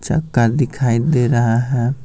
चक्का दिखाई दे रहा है।